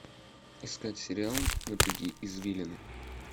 искать сериал напряги извилины